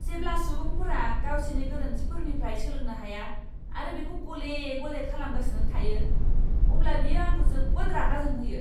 जेब्ला सुबुंफोरा गावसिनि गोरोन्थिफोरनिफ्राय सोलोंनो हाया आरो बेखौ गले गले खालामगासिनो थायो, अब्ला बियो आंखौ जोबोद रागा जोंहोयो!